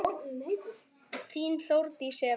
Þín, Þórdís Eva.